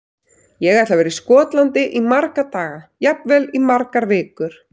Ég ætla að vera í Skotlandi í marga daga, jafnvel í margar vikur.